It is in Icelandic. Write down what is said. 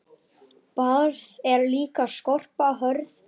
Barð er líka skorpa hörð.